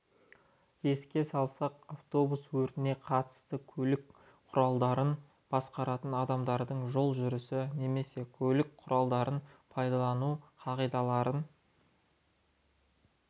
еске салсақ автобус өртіне қатысты көлік құралдарын басқаратын адамдардың жол жүрісі немесе көлік құралдарын пайдалану қағидаларын